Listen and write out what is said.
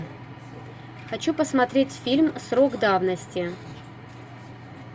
хочу посмотреть фильм срок давности